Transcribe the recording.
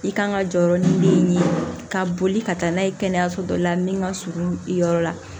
I kan ka jɔyɔrɔ ni min ye ka boli ka taa n'a ye kɛnɛyaso dɔ la min ka surun i yɔrɔ la